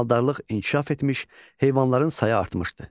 Maldarlıq inkişaf etmiş, heyvanların sayı artmışdı.